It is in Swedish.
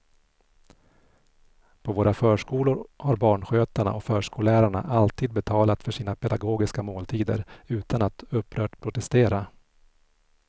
På våra förskolor har barnskötarna och förskollärarna alltid betalat för sina pedagogiska måltider utan att upprört protestera.